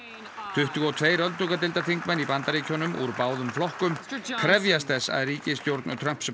tuttugu og tvö öldungadeildarþingmenn í Bandaríkjunum úr báðum flokkum krefjast þess að ríkisstjórn Trumps